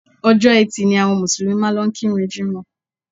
Ọjọ́ etì ni àwọn Mùsùlùmí máa ń lọ kí ìrun jimọ